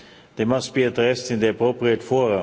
They must be addressed in the appropriate fora.